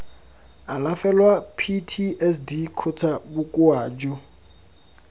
alafelwa ptsd kgotsa bokoa jo